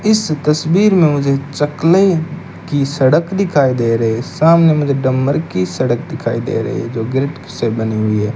इस तस्वीर में मुझे चकले की सड़क दिखाई दे रही है सामने मुझे डंबर की सड़क दिखाई दे रही है जो ग्रिप से बनी हुई है।